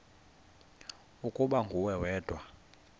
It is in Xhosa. ukuba nguwe wedwa